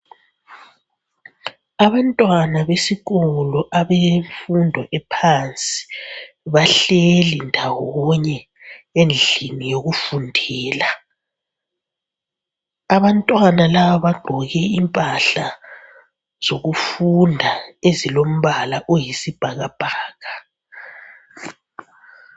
Abantwana besikolo abemfundo ephansi bahleli ndawonye endlini yokufundela. Abantwana laba bagqoke impahla zokufunda ezilombala oyisibhakabhaka.